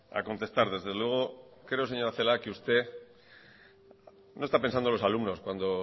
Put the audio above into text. a contestar desde luego creo señora celaá que usted no está pensando en los alumnos cuando